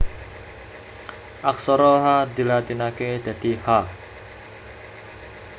Aksara Ha dilatinaké dadi Ha